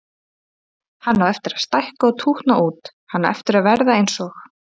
Hann á eftir að stækka og tútna út, hann á eftir að verða eins og